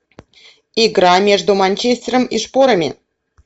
игра между манчестером и шпорами